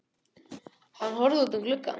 Hann horfði út um gluggann.